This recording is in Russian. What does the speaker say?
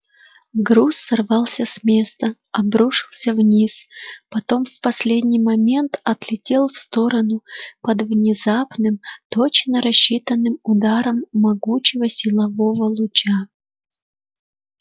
груз сорвался с места обрушился вниз потом в последний момент отлетел в сторону под внезапным точно рассчитанным ударом могучего силового луча